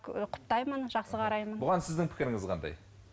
ііі құптаймын жақсы қараймын бұған сіздің пікіріңіз қандай